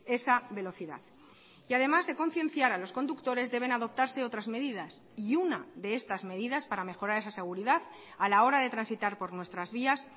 esa velocidad y además de concienciar a los conductores deben adoptarse otras medidas y una de estas medidas para mejorar esa seguridad a la hora de transitar por nuestras vías